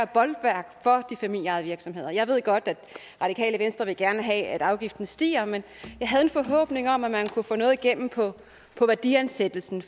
bolværk for de familieejede virksomheder jeg ved godt at det radikale venstre gerne vil have at afgiften stiger men jeg havde en forhåbning om at man kunne få noget igennem på værdiansættelsen